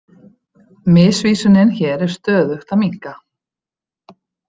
Misvísunin hér er stöðugt að minnka.